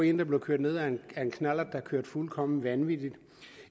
en der blev kørt ned af en knallert der kørte fuldkommen vanvittigt